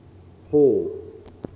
hall